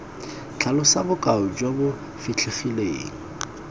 tlhalosa bokao jo bo fitlhegileng